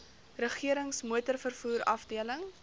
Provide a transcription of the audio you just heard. regerings motorvervoer afdeling